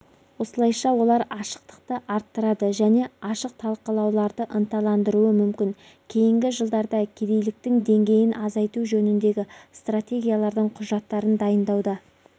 осылайша олар ашықтықты арттырады және ашық талқылауларды ынталандыруы мүмкін кейінгі жылдарда кедейліктің деңгейін азайту жөніндегі стратегиялардың құжаттарын дайындауда